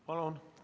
Palun!